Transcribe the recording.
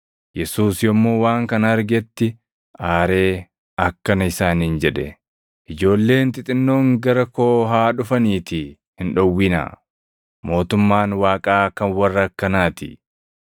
Yesuus yommuu waan kana argetti aaree akkana isaaniin jedhe; “Ijoolleen xixinnoon gara koo haa dhufaniitii hin dhowwinaa; mootummaan Waaqaa kan warra akkanaatii.